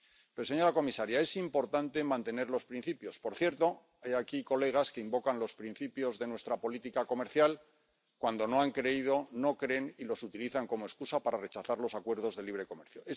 Pero, señora comisaria, es importante mantener los principios —por cierto, hay aquí colegas que invocan los principios de nuestra política comercial cuando no han creído, no creen y los utilizan como excusa para rechazar los acuerdos de libre comercio—.